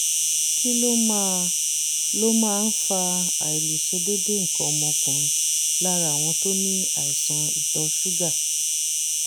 kí ló máa ló máa ń fa àìlèṣe déédé nǹkan ọmọkùnrin lára àwọn tó ní àìsàn ìtọ̀ ṣúgà?